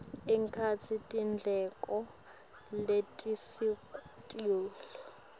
ekhatsi tindleko letisetulu